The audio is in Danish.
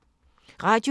Radio 4